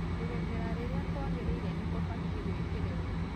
kũrĩmĩra rĩrĩa kũagĩrĩĩre nĩ kũbatĩĩ gũĩkĩrĩrũo